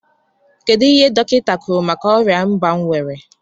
kedụ ihe dọkinta kwụrụ maka ọria ịba m nwere?